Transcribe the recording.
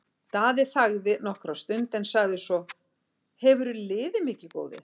Daði þagði nokkra stund en sagði svo:-Hefurðu liðið mikið, góði?